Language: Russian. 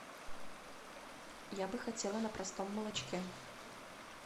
я бы хотела на простом молочке